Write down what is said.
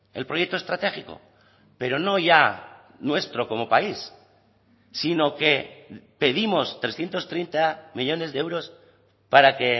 el proyecto estratégico pero no ya nuestro como país sino que pedimos trescientos treinta millónes de euros para que